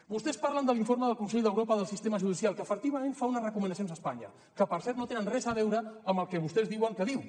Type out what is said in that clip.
vostès parlen de l’informe del consell d’europa del sistema judicial que efectivament fa unes recomanacions a espanya que per cert no tenen res a veure amb el que vostès diuen que diu